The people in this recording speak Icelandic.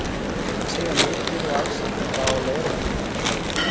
Ekki segja of mikið og alls ekki frá leiðréttingunni, Þórunn mín!